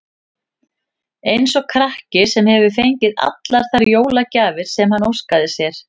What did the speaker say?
Eins og krakki, sem hefur fengið allar þær jólagjafir sem hann óskaði sér.